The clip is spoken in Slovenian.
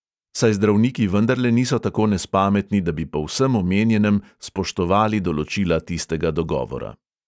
Saj zdravniki vendarle niso tako nespametni, da bi po vsem omenjenem spoštovali določila tistega dogovora.